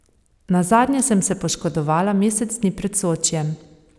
Nazadnje sem se poškodovala mesec dni pred Sočijem.